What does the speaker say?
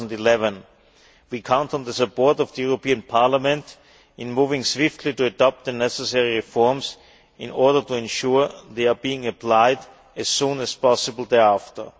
2011. We count on the support of the European Parliament in moving swiftly to adopt the necessary reforms in order to ensure they are applied as soon as possible thereafter.